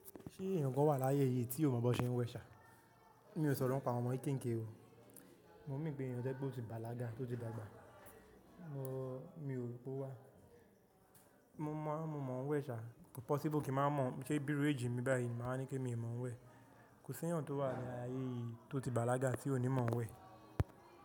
Ṣé èèyàn kan wà láyé yìí tí ò mọ̀ bó ṣe ń wẹ̀ ṣá? Mi ò sọ̀rọ̀ nípa àwọn ọmọ kéekèke o. Mo mean pé èèyàn tó ti bàlágà, tó ti dàgbà mo, mi ò rò pé ó wà. Mo mọ̀, mo mọ̀ ń wẹ̀ ṣá. Kò possible kí màá mọ̀ ṣé bírù age mi báyìí màá wa nípe mi o mọ̀ ń wẹ̀. Kò sí èèyàn tó wà láyé yìí tó ti bàlágà tí ò ní mọ̀ ń wẹ̀.